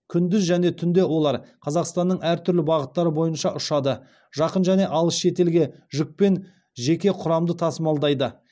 күндіз және түнде олар қазақстанның әр түрлі бағыттары бойынша ұшады жақын және алыс шетелге жүк пен жеке құрамды тасымалдайды